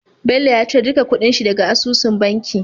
Bello ya cire duka kuɗin shi daka asusun banki